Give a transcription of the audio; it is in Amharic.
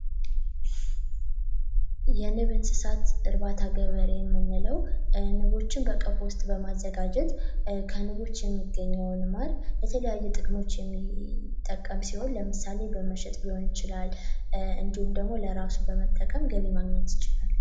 የንብ እንስሳት እርባታ ገበሬ የምንለው ንቦችን በቀፎ ውስጥ በማዘጋጀት ከንቦች የሚገኘውን ለተለያዩ ጥቅማ ጥቅሞች የሚጠቀም ሲሆን ለምሳሌ መሸጥ ሊሆን ይችላል እንዲሁም ለራሱ በመጠቀም ገቢ ማግኘት ይችላል።